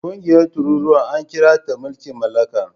Ƙungiyar tururuwa ana kiranta mulkin mallaka.